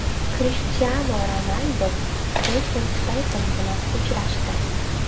Krishtianu Ronaldu Jeyson Steytem bilan uchrashdi.